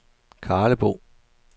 Karlebo